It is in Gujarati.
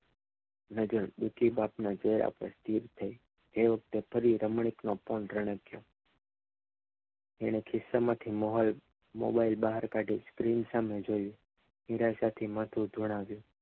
નજર દુઃખી બાપને જોયા પછી એ વખતે ફરી રમણીક ફોન રણક્યો એને ખિસ્સામાંથી મોબાઈલ બહાર કાંઢી સ્ક્રીન સામે જોઈ નિરાશાથી માથું ધુણાવ્યું